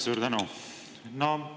Suur tänu!